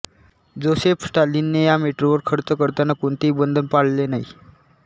Joseph स्टॅलिनने ह्या मेट्रोवर खर्च करताना कोणतेही बंधन पाळले नाही